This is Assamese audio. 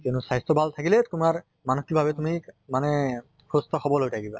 কিয়নো স্বাস্থ্য় ভাল থাকিলে তোমাৰ মানসিক ভাৱে তুমি মানে সুস্থ সবল হৈ থাকিবা।